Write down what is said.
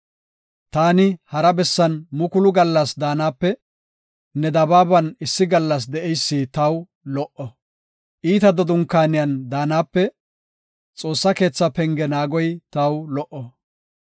Taani hara bessan mukulu gallas daanape, ne dabaaban issi gallas de7eysi taw lo77o. Iitata dunkaaniyan daanape, Xoossa keetha penge naagoy taw lo77o.